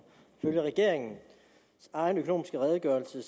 i regeringens egen økonomisk redegørelse